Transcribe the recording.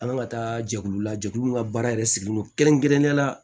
An ka taa jɛkulu la jɛkulu min ka baara yɛrɛ sigilen don kɛrɛnkɛrɛnnenya la